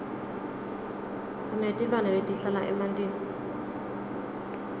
sinetilwane letihlala emantini